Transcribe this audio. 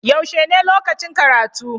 Yaushe ne lokacin karatu?